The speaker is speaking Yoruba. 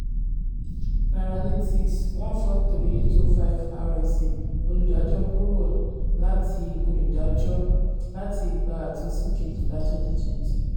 nairalytics one four three eight o five RSA olùdájọ kúrò láti olùdájọ láti ìgbà àtúnṣí kejìlá twenty twenty.